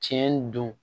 Tiɲɛ don